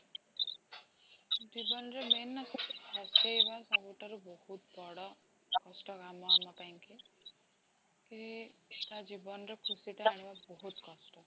ଜୀନବନ ରେ main ନା ହସେଇବା ସବୁଠାରୁ ବହୁତ ବଡ଼ କଷ୍ଟ କାମ ଆମ ପାଇଁକି, କି ତା ଜୀବନରେ ଖୁସିଟା ଆଣିବା ବହୁତ କଷ୍ଟ